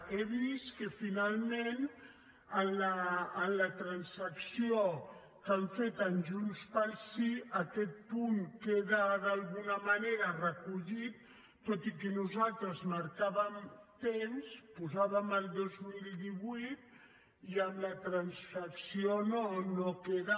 he vist que finalment en la transacció que han fet amb junts pel sí aquest punt queda d’alguna manera recollit tot i que nosaltres marcàvem temps posàvem el dos mil divuit i amb la transacció no queda